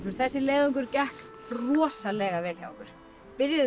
þessi leiðangur gekk rosalega vel hjá okkur byrjuðum með